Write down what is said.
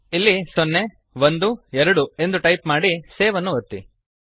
ಇಲ್ಲಿ ಸೊನ್ನೆ ಒಂದು ಎರಡು ಎಂದು ಟೈಪ್ ಮಾಡಿ ಸೇವ್ ಅನ್ನು ಒತ್ತಿ